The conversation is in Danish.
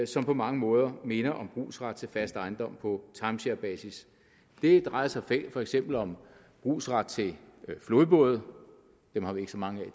som på mange måder minder om brugsret til fast ejendom på timesharebasis det drejer sig for eksempel om brugsret til flodbåde dem har vi ikke så mange af